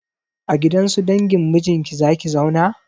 A gidan su dangin mijinki za ki zauna?